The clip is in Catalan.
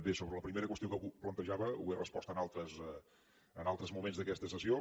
bé sobre la primera qüestió que plantejava ho he respost en altres moments d’aquesta sessió